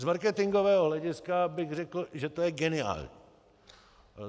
Z marketingového hlediska bych řekl, že to je geniální.